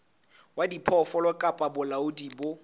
wa diphoofolo kapa bolaodi bo